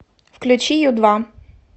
включи ю два